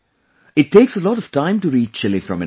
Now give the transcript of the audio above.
It takes a lot of time to reach Chile from India